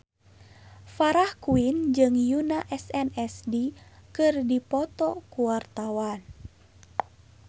Farah Quinn jeung Yoona SNSD keur dipoto ku wartawan